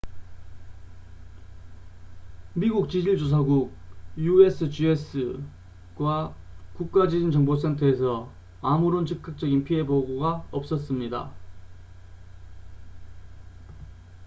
미국 지질 조사국usgs과 국가 지진 정보 센터에서 아무런 즉각적인 피해 보고가 없었습니다